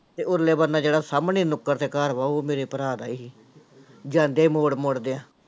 ਤੇ ਉਰਲੇ ਬੰਨ੍ਹੇ ਜਿਹੜਾ ਸਾਹਮਣੇ ਨੁੱਕਰ ਤੇ ਘਰ ਵਾ ਉਹ ਮੇਰੇ ਭਰਾ ਦਾ ਹੀ, ਜਾਂਦੇ ਮੋੜ ਮੁੜਦਿਆਂ।